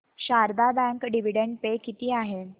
Sharda bank dividend pay किती आहे